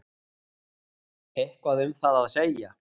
Eitthvað um það að segja?